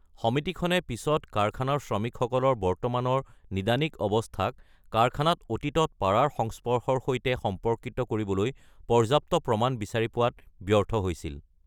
সমিতিখনে পিছত কাৰখানাৰ শ্ৰমিকসকলৰ বৰ্তমানৰ নিদানিক অৱস্থাক কাৰখানাত অতীতত পাৰাৰ সংস্পৰ্শৰ সৈতে সম্পৰ্কিত কৰিবলৈ পৰ্যাপ্ত প্ৰমাণ বিচাৰি পোৱাত ব্যৰ্থ হৈছিল।